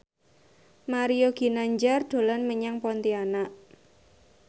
Mario Ginanjar dolan menyang Pontianak